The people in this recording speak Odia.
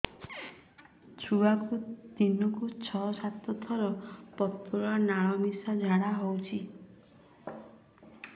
ଛୁଆକୁ ଦିନକୁ ଛଅ ସାତ ଥର ପତଳା ନାଳ ମିଶା ଝାଡ଼ା ହଉଚି